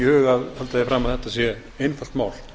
fram að þetta sé einfalt mál